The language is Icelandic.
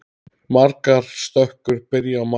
Margar stökur byrja á margur.